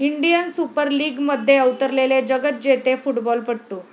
Indian super लीगमध्ये अवतरलेले जगज्जेते फुटबॉलपटू